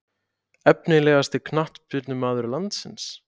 Efnilegasti knattspyrnumaður landsins?